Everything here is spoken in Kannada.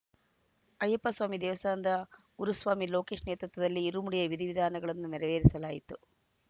ಅಯ್ಯಪ್ಪಸ್ವಾಮಿ ದೇವಸ್ಥಾನದ ಗುರುಸ್ವಾಮಿ ಲೋಕೇಶ್‌ ನೇತೃತ್ವದಲ್ಲಿ ಇರುಮುಡಿಯ ವಿಧಿ ವಿಧಾನವನ್ನು ನೆರವೇರಿಸಲಾಯಿತು